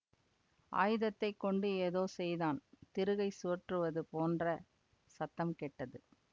ஆயுதத்தைக் கொண்டு ஏதோ செய்தான் திருகைச் சுழற்றுவது போன்ற சத்தம் கேட்டது